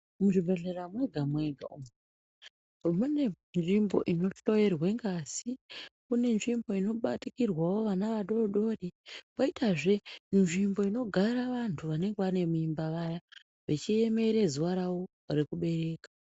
Mu zvibhedhlera mwega mwega mune nzvimbo ino hloyerwe ngazi mune nzvimbo ino batikirwawo vana vadodori koita zve nzvimbo inogara vantu vanenge vane mimba vaya vechi emere zuva ravo reku bereka.